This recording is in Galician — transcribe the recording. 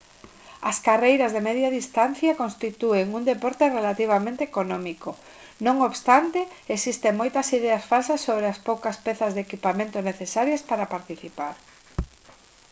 as carreiras de media distancia constitúen un deporte relativamente económico non obstante existen moitas ideas falsas sobre as poucas pezas de equipamento necesarias para participar